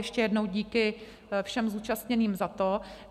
Ještě jednou díky všem zúčastněným za to.